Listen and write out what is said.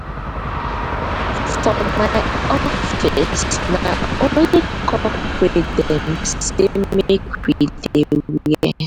for my office na only corporate dem sey make we dey wear.